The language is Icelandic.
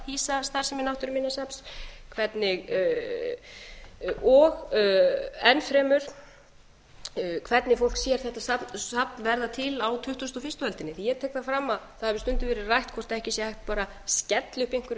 að hýsa starfsemi náttúruminjasafns og enn fremur hvernig fólk sér þetta safn verða til á tuttugustu og fyrstu öldinni ég tek það fram að það hefur stundum verið rætt hvort ekki sé hægt bara að skella upp einhverju